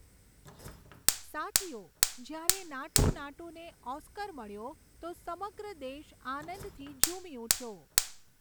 સાથીઓ, જ્યારે નાટૂ નાટૂને ઑસ્કાર મળ્યો તો સમગ્ર દેશ આનંદથી ઝૂમી ઊઠ્યો.